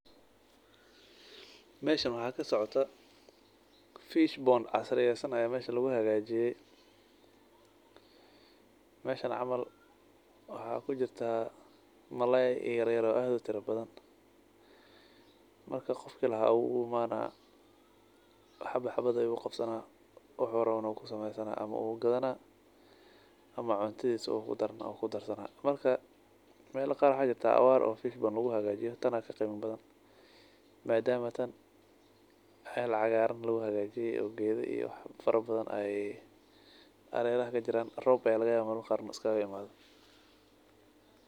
Meshan waxa kasocdoo fish pond casireysan aa mesha laguhagajiye meshan camal waxa kujirta malalay yar yar oo aad utirabadhan marka qoofki lahaa aa uu imana xabad xabad ayu ugabsana wuxu rawo kusamysana ama wuu gadhana ama cuntidhisa ugudarsana. Marka meel qaar waxa jirta awaar eeh fish pond laguhagajiyo tanakagimadha badhan madaama taan meel cagaran laguhagajiye oo gedhi ii wax farabadhan ay xarerah kajiran roobka aya lagayawa mar amar gaar inuu askagimadho.